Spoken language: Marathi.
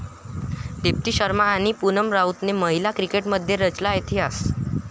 दीप्ती शर्मा आणि पुनम राऊतने महिला क्रिकेटमध्ये रचला इतिहास